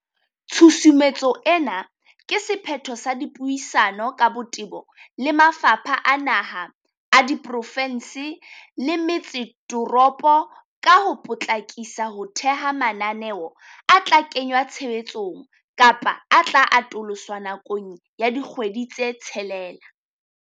Tshusumetso ena ke se phetho sa dipuisano ka botebo le mafapha a naha, a diprofe nse le metse toropo ka ho po tlakisa ho theha mananeo a tla kengwa tshebetsong kapa a tla atoloswa nakong ya dikgwedi tse tshelela.